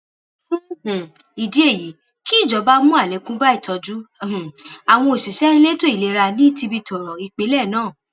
fún um ìdí èyí kíjọba mú àlékún bá ìtọjú um àwọn òṣìṣẹ elétò ìlera ní tibitooro ìpínlẹ náà